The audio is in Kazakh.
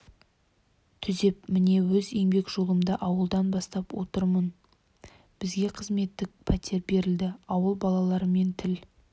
түзеп міне өз еңбек жолымды ауылдан бастап отырмын бізге қызметтік пәтер берілді ауыл балаларымен тіл